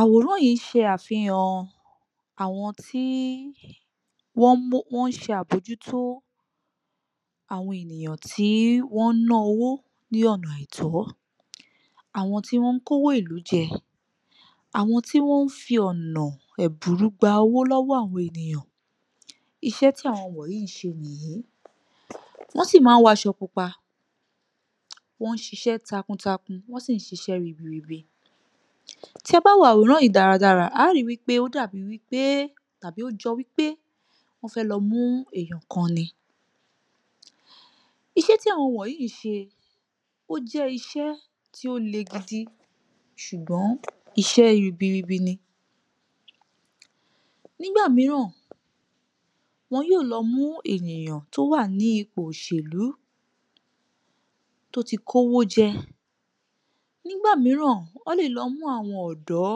Àwòrán yìí ń ṣe àfihàn àwọn tí wọ́n ń mú, wọ́n ń ṣe àbojútó àwọn ènìyàn tí wọ́n ń ná owó ní ọ̀nà àìtọ́, àwọn tí wọ́n kówó ìlú jẹ, àwọn tí wọ́n fi ọ̀nà ẹ̀bùrú gba owó lọ́wọ́ àwọn ènìyàn, iṣẹ́ tí àwọn wọ̀nyí ń ṣe nìyí, wọ́n sì máa ń wọ aṣọ pupa, wọ́n ń ṣiṣẹ́ takuntakun, wọ́n sì ń ṣiṣẹ́ ribiribi. Tí a bá wo àwòrán yìí dáradára, a ó ri wípé ó dàbí wípé tàbí ó jọ wípé wọ́n fẹ lọ mú èèyàn kan ni. Iṣẹ́ tí àwọn wọ̀nyí ń ṣe, ó jẹ́ iṣẹ́ tí ó le gidi, ṣùgbọ́n iṣẹ́ ribiribi ni. Nígbà mìíràn, wọn yóò lọ mú ènìyàn tó wà ní ipò òṣèlú, tó ti kówó jẹ, nígbà mìíràn wọ́n lè lọ mú àwọn ọ̀dọ́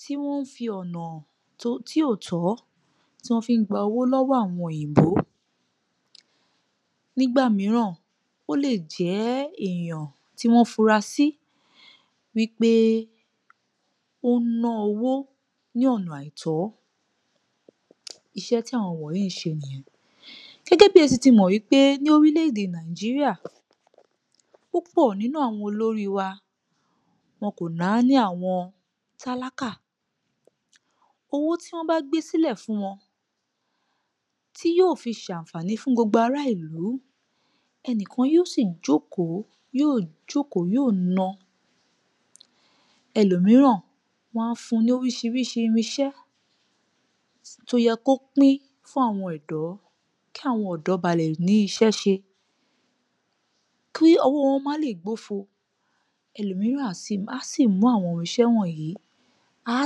tí wọ́n ń fi ọ̀nà tí, tí ò tọ́, tí wọ́n fi ń gba owọ́ lọ́wọ́ àwọn òyìnbó. Nígbà mìíràn, ó lè jẹ́ èèyàn tí wọ́n funra sí wípé ó ń ná owó ní ọ̀nà àìtọ́, iṣẹ́ tí àwọn wọ̀nyí ń ṣe nìyẹn, gẹ́gẹ́ bí ẹ sì ti mọ̀ wípé ní orílẹ̀-èdè Nàìjíríà, púpọ̀ nínú àwọn olórí wa, wọn kò náání àwọn tálákà, owó tí wọ́n bá gbé sílẹ̀ fún wọn, tí yóò fi ṣàǹfàní fún gbogbo ará ìlú, ẹnì kan yóò sì jókòó, yóò jókòó yóò na, ẹlòmíràn, wọn á fun ní oríṣiríṣi irinṣẹ́ tó yẹ kó pín fún àwọn ọ̀dọ́ kí àwọn ọ̀dọ́ ba lè rí, ní iṣẹ́ ṣe, kí ọwọ́ wọn má lè gbófo, ẹlòmíràn a sì, a sì mú àwọn irinṣẹ́ wọ̀nyí, á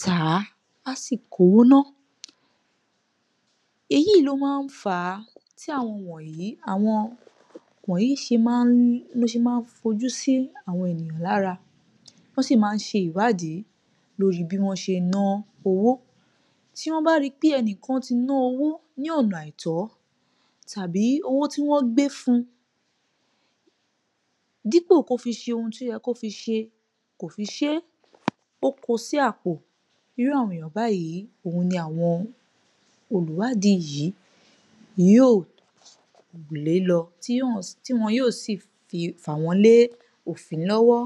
tà á, á sì kó owó náà, èyí yìí ló máa ń fà á tí àwọn wọ̀nyí, àwọn wọ̀nyí ṣe máa ń, ná ṣe máa ń fojú sí àwọn ènìyàn lára, wọ́n sì máa ń ṣe ìwádìí lórí bí wọ́n ṣe ná owó, tí wọ́n bá rí i pé ẹnìkan ti ná owó ní ọ̀nà àìtọ́ tàbí owó tí wọ́n gbé fun, dípò kó fi ṣe ohun tó yẹ kó fi ṣe, kò fi ṣé, ó ko sí àpò, irú àwọn èèyàn báyìí, òun ni àwọn olùwádìí yìí yóò lé lọ, tí[um] tí wọn yóò sì fi, fà wọ́n lé òfin lọ́wọ́